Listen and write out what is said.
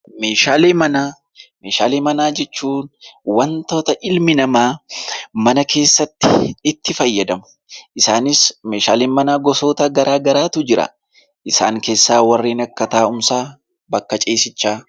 Meeshaalee manaa. Meeshaalee manaa jechuun wantoota ilmi namaa mana keessatti itti fayyadamuudha. Isaannis meeshaaleen manaa gosoota garaa garaatu jira. Isaan keessaa warreen akka taa'uumsaa fi bakka ciisichaati.